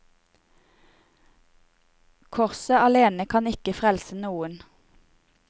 Korset alene kan ikke frelse noen.